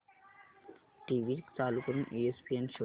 TV चालू करून ESPN शोध